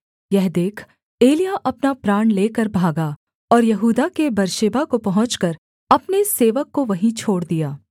यह देख एलिय्याह अपना प्राण लेकर भागा और यहूदा के बेर्शेबा को पहुँचकर अपने सेवक को वहीं छोड़ दिया